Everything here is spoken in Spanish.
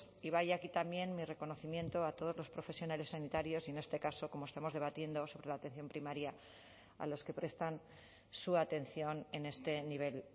y vaya aquí también mi reconocimiento a todos los profesionales sanitarios y en este caso como estamos debatiendo sobre la atención primaria a los que prestan su atención en este nivel